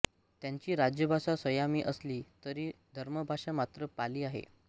त्यांची राजभाषा सयामी असली तरी धर्मभाषा मात्र पाली आहे